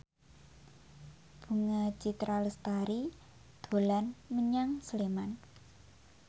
Bunga Citra Lestari dolan menyang Sleman